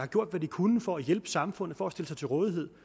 gjort hvad de kunne for at hjælpe samfundet og for at stille sig til rådighed